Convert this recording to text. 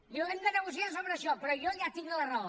diu hem de negociar sobre això però jo ja tinc la raó